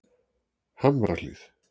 Hamrahlíð